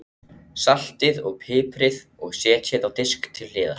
Saltið og piprið og setjið á disk til hliðar.